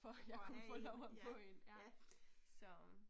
For jeg kunne få lov at få én så